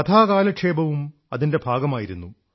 കഥാകാലക്ഷേപവും അതിന്റെ ഭാഗമായിരുന്നു